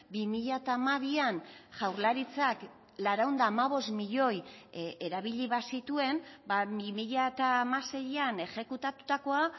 bi mila hamabian jaurlaritzak laurehun eta hamabost milioi erabili bazituen bi mila hamaseian exekutatutakoa